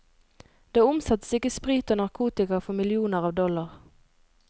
Det omsettes ikke sprit og narkotika for millioner av dollar.